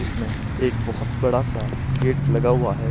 इसमें एक बोहोत बड़ासा गेट लगा हुआ है।